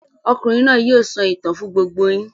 Okùnrin náà yóò sọ ìtàn fún gbogbo yín.